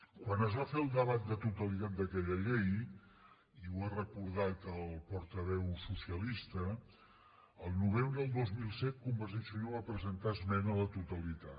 quan es va fer el debat de totalitat d’aquella llei i ho ha recordat el portaveu socialista el novembre del dos mil set convergència i unió va presentar esmena a la totalitat